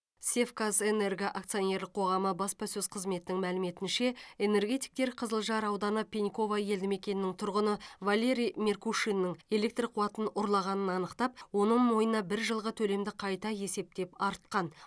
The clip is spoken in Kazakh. севказэнерго акционерлік қоғамы баспасөз қызметінің мәліметінше энергетиктер қызылжар ауданы пеньково елді мекенінің тұрғыны валерий меркушиннің электр қуатын ұрлағанын анықтап оның мойнына бір жылғы төлемді қайта есептеп артқан